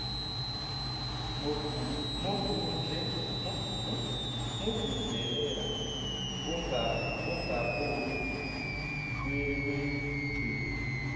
movundlela ongaboni wagci